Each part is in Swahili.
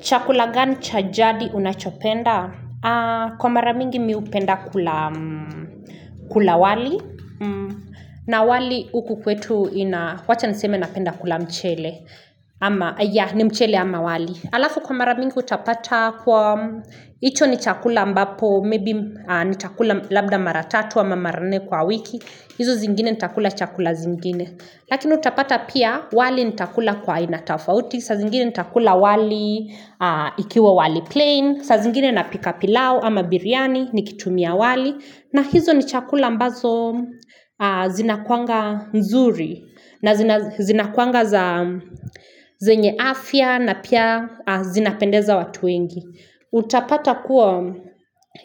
Chakula gani cha jadi unachopenda? Kwa mara mingi mi hupenda kula wali. Na wali huku kwetu ina, wacha niseme napenda kula mchele. Ama, yah, ni mchele ama wali. Alafu kwa mara mingi utapata kuwa, hicho ni chakula ambapo, maybe ni chakula labda mara tatu ama mara nne kwa wiki. Hizo zingine nitakula chakula zingine. Lakini utapata pia, wali nitakula kwa aina tofauti. Saa zingine nitakula wali ikiwa wali plain saa zingine napika pilau ama biryani nikitumia wali na hizo ni chakula ambazo zinakuanga nzuri na zinakuanga zenye afya na pia zinapendeza watu wengi Utapata kuwa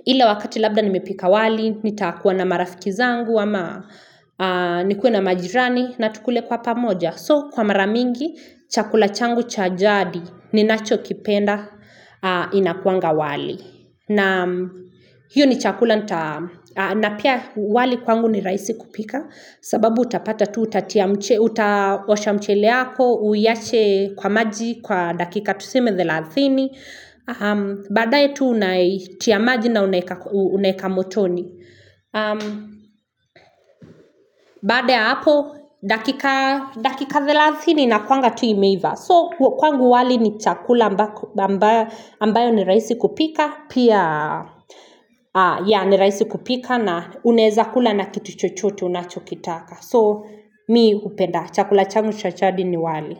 ile wakati labda nimepika wali nitakuwa na marafiki zangu ama nikuwa na majirani na tukule kwa pamoja So, kwa maramingi, chakula changu chajadi ni nacho kipenda inakuanga wali. Na hiyo ni chakula, na pia wali kwangu ni raisi kupika. Sababu utapata tu utaosha mcheleako, uiache kwa maji, kwa dakika tuseme thelathini. Badae tu unaitia maji na unaeka motoni. Baada ya hapo, dakika 30 inakuwanga tu imeiva So, kwangu wali ni chakula ambayo ni raisi kupika Pia, ya ni raisi kupika na uneza kula na kitu chochote unachokitaka So, mi hupenda, chakula changu cha chadi ni wali.